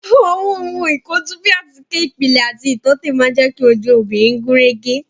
Àwọn ohun ìkojú bíi àtíkè ìpìlẹ̀ àti ìtọ́tè máa jẹ ki ojú obìnrin gúnrégé